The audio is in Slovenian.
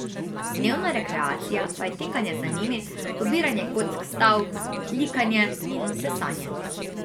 Dnevna rekreacija pa je tekanje za njimi, pobiranje kock s tal, likanje in sesanje ...